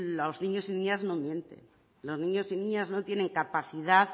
los niños y niñas no mienten los niños y niñas no tienen capacidad